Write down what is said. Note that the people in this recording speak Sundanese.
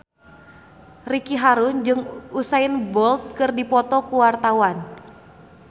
Ricky Harun jeung Usain Bolt keur dipoto ku wartawan